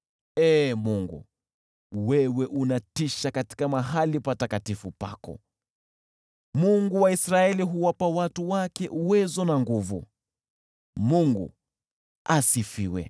Ee Mungu, wewe unatisha katika mahali patakatifu pako, Mungu wa Israeli huwapa watu wake uwezo na nguvu. Mungu Asifiwe!